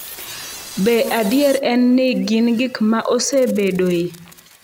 Be adier en ni gin gik ma osebedoe?